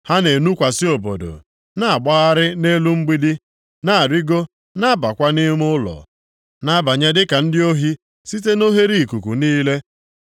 Ha na-enukwasị obodo, na-agbagharị nʼelu mgbidi, na-arịgo, na-abakwa nʼime ụlọ; na-abanye dịka ndị ohi site na oghereikuku niile.